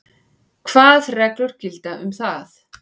Hvað reglur gilda um það?